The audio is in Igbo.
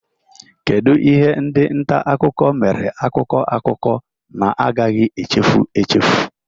Kedu ihe ndị nta akụkọ mere akụkọ akụkọ na-agaghị echefu echefu?